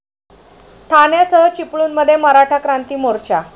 ठाण्यासह चिपळूणमध्ये मराठा क्रांती मोर्चा